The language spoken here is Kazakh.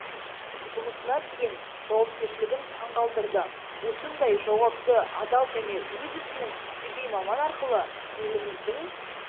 жұмысына деген жауапкершілігін таң қалдырды осындай жауапты адал және өз ісінің кәсіби маман арқылы еліміздің